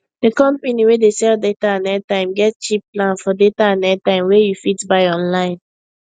the company wey dey sell data and airtime get cheap plan for data and airtime wey you fit buy online